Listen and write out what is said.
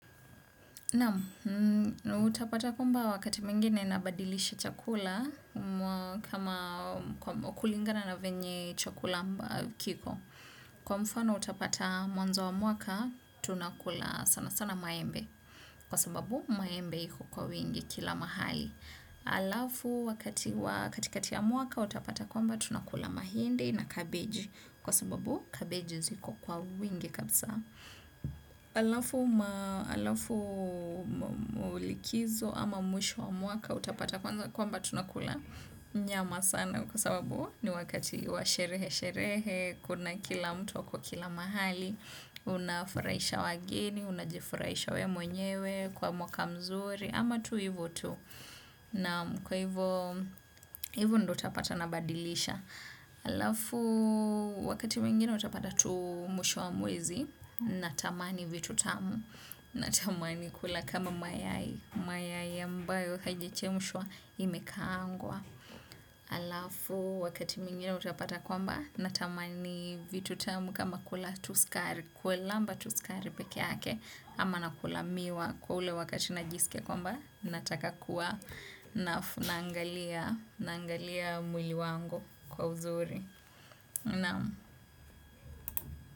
Naam, utapata kwamba wakati mwingine nabadilisha chakula kama kulingana na venye chakula ambao kiko. Kwa mfano utapata mwanzo wa mwaka, tunakula sana sana maembe. Kwa sababu, maembe iko kwa wingi kila mahali. Halafu, wakati wa katikati ya mwaka, utapata kwamba tunakula mahindi na cabbage. Kwa sababu, cabbage ziko kwa wingi kabisa. Halafu likizo ama mwisho wa mwaka utapata kwamba tunakula nyama sana kwa sababu ni wakati wa sherehe sherehe kuna kila mtu ako kila mahali. Unafurahisha wageni, unajifurahisha wewe mwenyewe kwa mwaka mzuri ama tu hivo tu na kwa hivo hivo ndo utapata nabadilisha halafu wakati mwingine utapata tu mwisho wa mwezi natamani vitu tamu natamani kula kama mayai mayai ambayo haijachemshwa imekaangwa halafu wakati mwingine utapata kwamba natamani vitu tamu kama kula tu sukari. Kuilamba tu sukari pekeake ama nakula miwa kwa ule wakati najisikia kwamba nataka kuwa na naangalia mwili wangu kwa uzuri na.